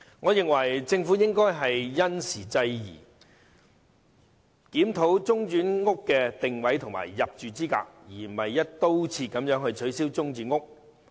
我認為政府應該因時制宜，檢討中轉房屋的定位和入住資格，而不是"一刀切"取消中轉房屋。